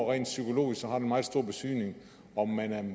rent psykologisk har meget stor betydning om man